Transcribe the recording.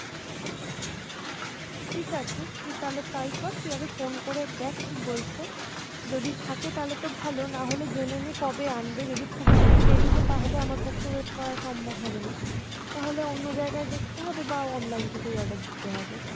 ঠিক আছে, তুই তাহলে তাই কর তুই আগে phone করে দেখ কি বলছে, যদি থাকে তাহলে তো ভালোই না হলে জেনে নে কবে আনবে যদি খুব বেশি দেরি হয় তাহলে আমার পক্ষে wait করা সম্ভব হবেনা, তাহলে অন্য জায়গায় দেখতে হবে বা online থেকেই order দিতে হবে।